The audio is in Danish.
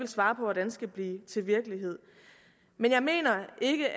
svare på hvordan skal blive til virkelighed jeg mener ikke